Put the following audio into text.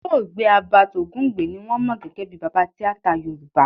Olóògbé Herbert Ogunde ni wọ́n mọ gẹ́gẹ́ bí baba tíátà Yorùbá